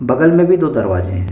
बगल में भी दो दरवाजे है।